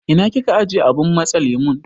Ina kika ajiye abun matse lemu?